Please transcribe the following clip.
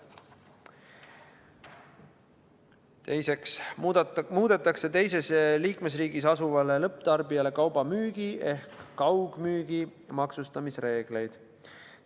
Teiseks muudetakse teises liikmesriigis asuvale lõpptarbijale kauba müügi ehk kaugmüügi maksustamise reegleid.